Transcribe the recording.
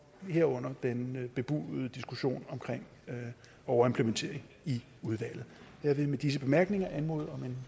herunder den bebudede diskussion om overimplementering i udvalget jeg vil med disse bemærkninger anmode om en